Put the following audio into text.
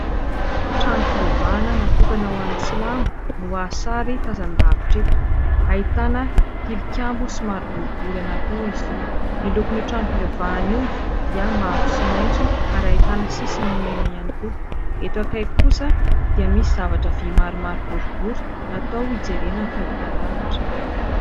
Trano fivavahana natokana ho an'ny Silamo no azo sary tazan-davitra eto, ahitana tilikambo somary boribory anankiroa izy io. Ny lokon' io trano fivavahana io dia mavo sy maitso ary ahitana sisiny mena ihany koa, eto akaiky kosa dia misy zavatra vy maromaro boribory natao hijerena fahitalavitra.